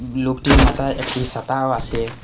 লোকটির মাথায় একটি সাতাও আসে।